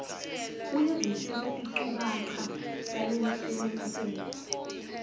uyavisisa tinchukaca talesimemetelo